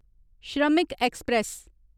श्रमिक ऐक्सप्रैस